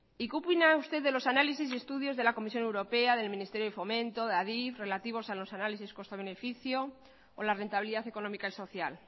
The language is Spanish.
y qué opina usted de los análisis y estudios de la comisión europea del ministerio de fomento de adif relativos a los análisis coste beneficio o la rentabilidad económica y social